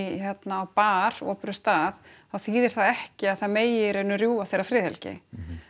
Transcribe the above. á bar opinberum stað þá þýðir það ekki að það megi í raun og veru rjúfa þeirra friðhelgi